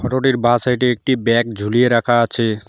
রোডের বা সাইডে একটি ব্যাগ ঝুলিয়ে রাখা আছে।